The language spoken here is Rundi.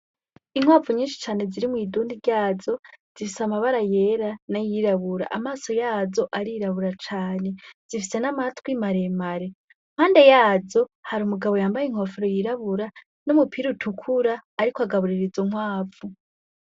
Inkwavu nyinshi cane zirimw'idundi ryazo zifise amabara yera na yirabura amaso yazo arirabura cane zifise n'amatwi maremare mpande yazo hari umugabo yambaye inkofero yirabura no mupira utukura, ariko agabuririza nkwavu.